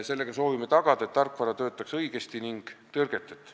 Sellega soovime tagada, et tarkvara töötaks õigesti ning tõrgeteta.